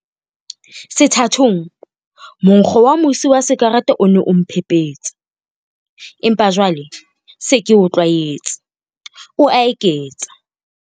Sethatong, monkgo wa mosi wa sikarete o ne o mphephetsa, empa jwale ke se ke o tlwaetse, o a eketsa.